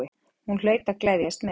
Hún hlaut að gleðjast með.